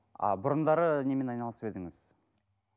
а бұрындары немен айналысып едіңіз